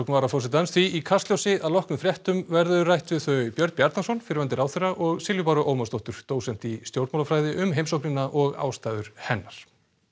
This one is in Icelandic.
varaforsetans því í Kastljósi að loknum fréttum verður rætt við þau Björn Bjarnason fyrrverandi ráðherra og Silju Báru Ómarsdóttur dósent í stjórnmálafræði um heimsóknina og ástæður hennar